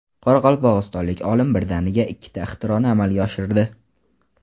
Qoraqalpog‘istonlik olim birdaniga ikkita ixtironi amalga oshirdi.